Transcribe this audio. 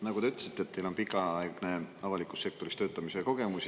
Nagu te ütlesite, on teil pikaaegne avalikus sektoris töötamise kogemus.